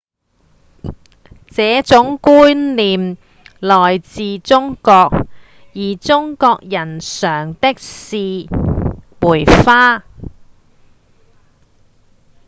這種觀念來自中國而中國人賞的是梅花